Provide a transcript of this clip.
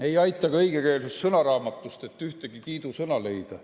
Ei aita ka õigekeelsussõnaraamat, et ühtegi kiidusõna leida.